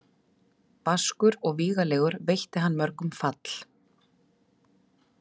Vaskur og vígalegur veitti hann mörgum fall.